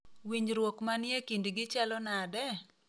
Winjruok manie kindgi chalo nade?